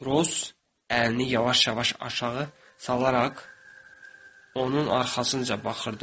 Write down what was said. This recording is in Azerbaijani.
Ros əlini yavaş-yavaş aşağı salaraq onun arxasınca baxırdı.